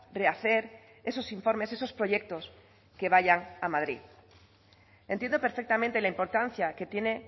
rehacer esos informes esos proyectos que vayan a madrid entiendo perfectamente la importancia que tiene